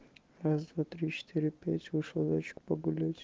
раз-два-три-четыре-пять вышел зайчик погулять